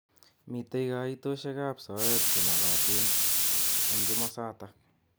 Mitei kaitoshek ab soet chemokotin eng kimosatak.